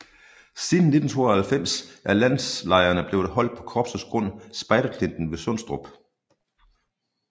Siden 1992 er landslejrene blevet holdt på korpsets grund Spejderklinten ved Sundstrup